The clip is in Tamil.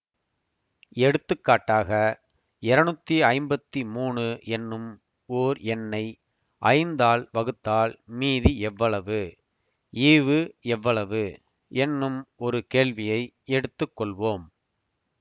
எடுத்துக்காட்டாக இருநூத்தி ஐம்பத்தி மூனு என்னும் ஓர் எண்ணை ஐந்தால் வகுத்தால் மீதி எவ்வளவு ஈவு எவ்வளவு என்னும் ஒரு கேள்வியை எடுத்து கொள்வோம்